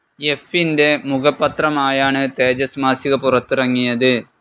എഫിന്റെ മുഖപത്രമായാണ് തേജസ് മാസിക പുറത്തിറങ്ങിയത്.